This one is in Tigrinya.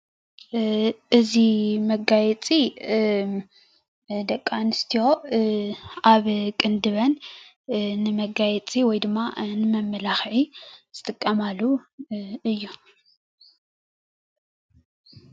እዚ መጋየፂ ንደቂ ኣንሰትዮ ኣብ ቅንድበን ንመጋየፂ ወይከዓ ንመመላክዒ ዝጥቀማሉ እዩ።